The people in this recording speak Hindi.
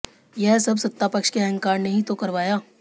यह सब सत्तापक्ष के अहंकार ने ही तो करवाया